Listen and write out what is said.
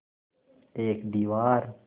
एक दीवार